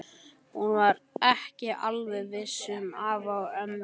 Hún var ekki alveg eins viss um afa og ömmu.